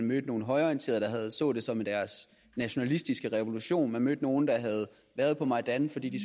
mødte nogle højreorienterede der så det som deres nationalistiske revolution og jeg mødte nogle der havde været på majdan fordi de